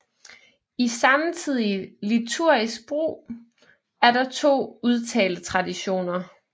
I samtidig liturgisk brug er der to udtaletraditioner